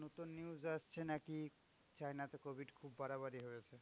নতুন news আসছে নাকি চায়না তে covid খুব বাড়াবাড়ি হয়েছে।